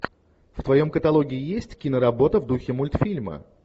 в твоем каталоге есть киноработа в духе мультфильма